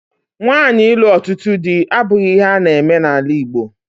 Nwaanyị ịlụ ọtụtụ di abụghị ihe a na-eme n'ala Igbo.